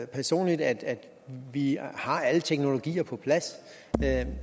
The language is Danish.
personligt at vi har alle teknologier på plads